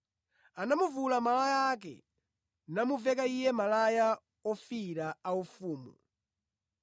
Anamuvula malaya ake namuveka Iye malaya ofiira aufumu.